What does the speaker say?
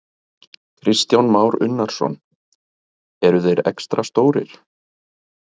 Kristján Már Unnarsson: Eru þeir extra stórir?